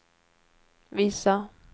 visa